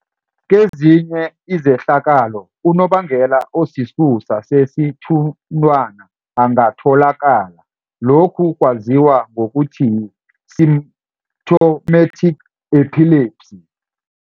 Kezinye izehlakalo, unobangela osisusa sesithunthwana angatholakala, lokhu kwaziwa ngokuthi yi-symptomatic epilepsy.